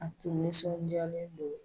A tun nisɔnjalen don